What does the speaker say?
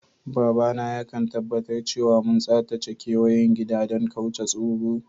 Baba na ya kan tabatar cewa mun tsatace keweyen gida dan kauce tsoro.